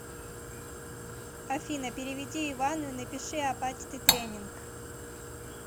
афина переведи ивану и напиши апатиты тренинг